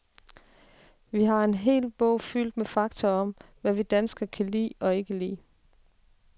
Vi har en hel bog fyldt med fakta om, hvad vi danske kan lide og ikke lide.